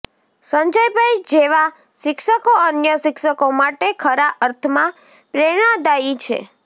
સંજયભાઈ જેવા શિક્ષકો અન્ય શિક્ષકો માટે ખરા અર્થમાં પ્રેરણાદાયી છે